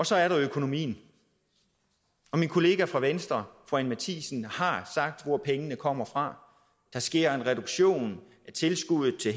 så er der økonomien min kollega fra venstre fru anni matthiesen har sagt hvor pengene kommer fra der sker en reduktion af tilskuddet til